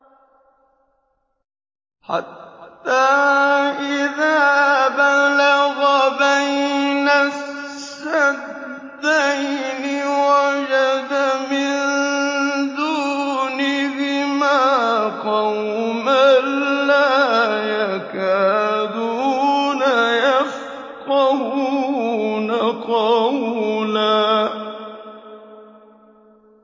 حَتَّىٰ إِذَا بَلَغَ بَيْنَ السَّدَّيْنِ وَجَدَ مِن دُونِهِمَا قَوْمًا لَّا يَكَادُونَ يَفْقَهُونَ قَوْلًا